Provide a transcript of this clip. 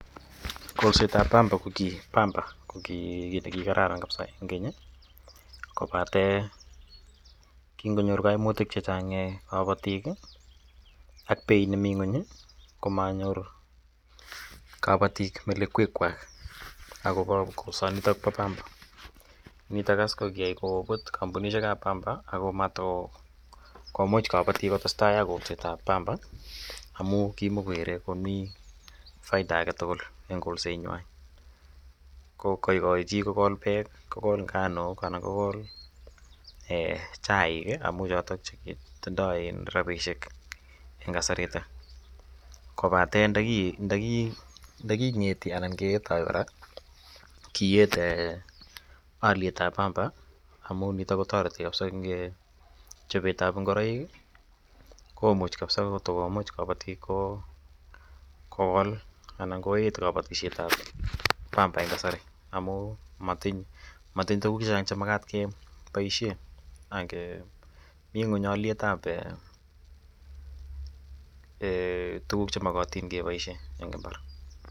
Kolseet ap pamba ko ki kiit ne kikararan missing' keny i, kopate kingonyor kaimutik che chang' kapatiik ii, ak peit nemi ng'uny i, ko mayor kapatiik melekwekwak akopa kolsanitok po pamba. Nitok as ko koyai koputya kampunishek ap pamba ako matukomuch kapatiik kotestai ak kolseet ap pamba amu kimakokere komi faida age tugul eng' kolsenywa. Ko kaikai chi ko kol peek, ko kol nganuk anan ko chaiik amu chotok che tindak rapisiek eng' kasaritak kopate nda king'eti anan ketai kora kieet aliet ap pamba amu nitok kotareti kapsa eng' chopet ap ngoroik i, komuch kapsa kotukokol kapatik kokol anan koeet kapatishet ap pamba eng' kasari amu matinye tuguuk che chang' che makat ke paishe ako mi ng'uny aliet ap tuguk che makat kepaishe eng' imbar.